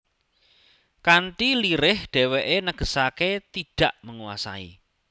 Kanthi lirih dheweke negesake tidak menguasai